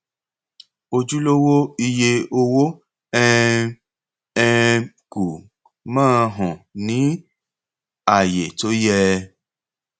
ojúlówó iye owó um um kù máa hàn ní àyé tó yẹ